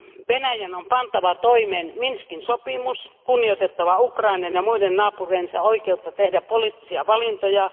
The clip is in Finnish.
Venäjän on pantava toimeen Minskin sopimus ja kunnioitettava Ukrainan ja muiden naapuriensa oikeutta tehdä poliittisia valintoja.